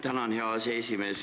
Tänan, hea aseesimees!